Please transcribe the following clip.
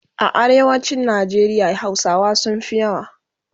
A arewacin Nigeria hausawa sunfi yawa